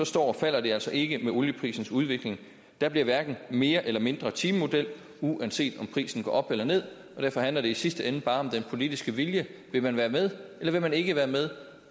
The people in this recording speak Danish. står og falder det altså ikke med olieprisens udvikling der bliver hverken mere eller mindre timemodel uanset om prisen går op eller ned og derfor handler det i sidste ende bare om den politiske vilje vil man være med eller vil man ikke være med